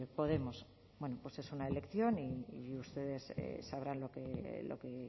podemos bueno pues es una elección y ustedes sabrán lo que